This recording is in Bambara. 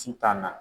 Sitan na